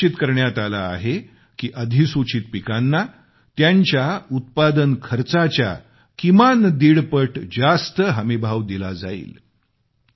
हे निश्चित करण्यात आले आहे की अधिसूचीत पिकांना त्यांच्या उत्पादन खर्चाच्या किमान दीडपट जास्त हमीभाव दिला जाईल